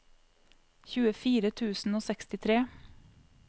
tjuefire tusen og sekstitre